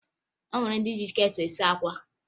O nwere ndị ji ketụlụ esi àkwá